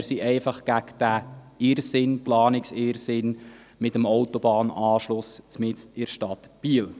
Wir sind einfach gegen diesen Planungsirrsinn mit dem Autobahnanschluss mitten in der Stadt Biel.